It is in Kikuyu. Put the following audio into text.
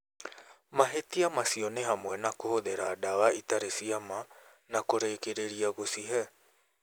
Mahitia macio ni hamwe na kũhũthĩra ndawa itarĩ cia ma na kũrĩkĩrĩria gũcihe.